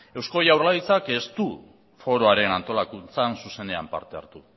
eusko jaurlaritzak ez du foroaren antolakuntzan zuzenean parte hartu